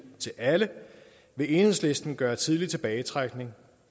til alle vil enhedslisten gøre tidlig tilbagetrækning